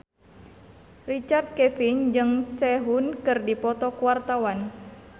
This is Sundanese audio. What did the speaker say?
Richard Kevin jeung Sehun keur dipoto ku wartawan